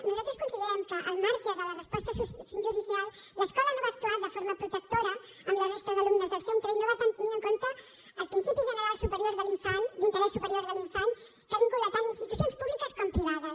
nosaltres considerem que al marge de la resposta judicial l’escola no va actuar de forma protectora amb la resta d’alumnes del centre i no va tenir en compte el principi general d’interès superior de l’infant que vincula tant institucions públiques com privades